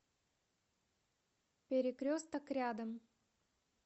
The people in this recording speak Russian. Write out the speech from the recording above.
перекресток рядом